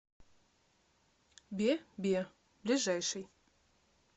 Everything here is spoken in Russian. бе бе ближайший